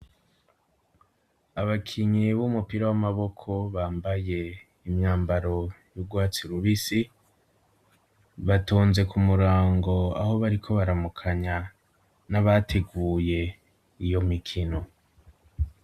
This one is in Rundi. Abakinyi b'umupira w'amaboko bambaye imyambaro y'urwatsi rubisi, batonze ku murango aho bariko baramukanya n'abateguye iyo mikino.